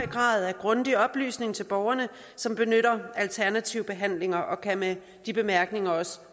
grad af grundig oplysning til borgerne som benytter alternativ behandling og kan med de bemærkninger